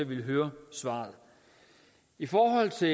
ville høre svaret i forhold til